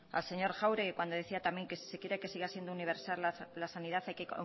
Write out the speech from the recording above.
al señor jáuregui cuando decía también que si se quería que siga siendo universal la sanidad hay que